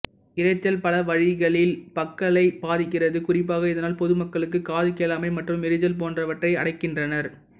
இரைச்சல் பல வழிகளில் மக்களை பாதிக்கிறது குறிப்பாக இதனால் பொதுமக்களுக்கு காது கேளாமை மற்றும் எரிச்சல் போன்றவற்றை அடைகின்றனர்